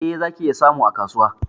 Eh, zaki iya samu a kasuwa